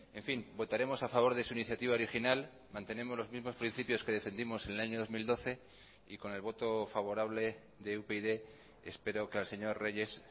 en fin votaremos a favor de su iniciativa original mantenemos los mismos principios que defendimos en el año dos mil doce y con el voto favorable de upyd espero que al señor reyes